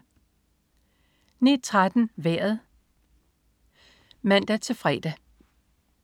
09.13 Vejret (man-fre)